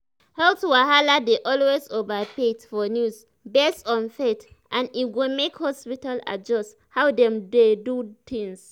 health wahala dey always overhyped for news based on faith and e go make hospitals adjust how dem dey do tins.